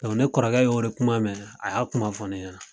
ne kɔrɔkɛ y'o de kuma mɛn , a y'a kuma fɔ ne ɲana.